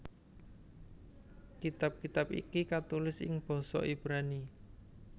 Kitab kitab iki katulis ing basa Ibrani